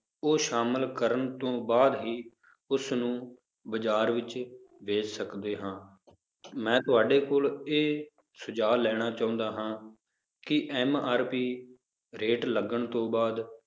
ਉਹ ਸ਼ਾਮਿਲ ਕਰਨ ਤੋਂ ਬਾਅਦ ਹੀ ਉਸਨੂੰ ਬਾਜ਼ਾਰ ਵਿੱਚ ਵੇਚ ਸਕਦੇ ਹਾਂ ਮੈਂ ਤੁਹਾਡੇ ਕੋਲ ਇਹ ਸੁਝਾਅ ਲੈਣਾ ਚਾਹੁੰਦਾ ਹਾਂ ਕਿ MRP rate ਲੱਗਣ ਤੋਂ ਬਾਅਦ